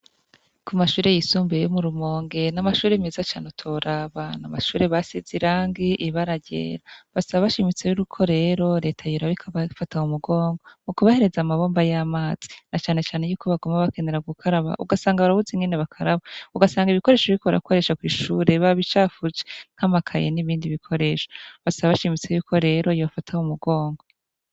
Ku mashure yisumbuye yo murumonge n'amashuri meza cane utorabantu mashure ba size irangi ibara ryera basaba bashimitse biruko rero leta yurabikabafata mu mugongo mu kubahereza amabomba y'amazi na canecane yuko bagomba bakenera gukaraba ugasanga barabuzi ngene bakaraba ugasanga ibikoresho biko barakworesha kw'ishure bab icafujekamaa akaye n'ibindi bikoresha basa bashimitse yuko rero yofataho mugongwe.